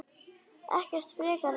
Ekkert frekar en ég.